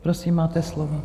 Prosím, máte slovo.